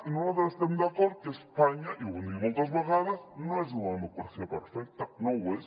i nosaltres estem d’acord que espanya i ho hem dit moltes vegades no és una democràcia perfecta no ho és